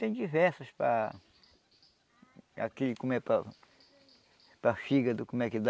Tem diversas para... aqui, como é para... para fígado, como é que dá...